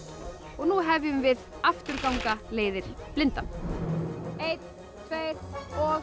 og nú hefjum við afturganga leiðir blindan einn tveir og